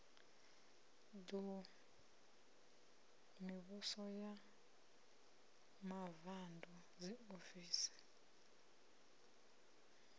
ḓu mivhuso ya mavuṋdu dziofisi